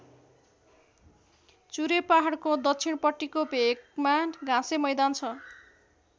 चुरे पहाडको दक्षिणपट्टिको भेकमा घाँसे मैदान छ।